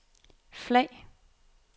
flag